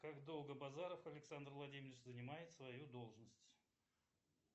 как долго базаров александр владимирович занимает свою должность